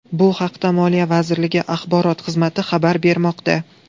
Bu haqda moliya vazirligi axborot xizmati xabar bermoqda .